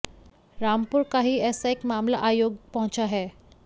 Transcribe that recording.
रामपुर का ही ऐसा एक मामला आयोग पहुंचा है